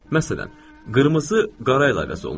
Məsələn, qırmızı qara ilə əvəz olunur.